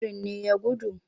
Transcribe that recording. Birin ne ya gudu?